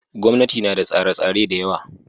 Gwamnati ma da tsare tsare dayawa